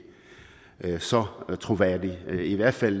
så troværdig det er i hvert fald